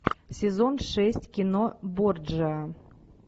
сезон шесть кино борджиа